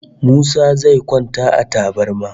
Musa zai kwanta a tabarma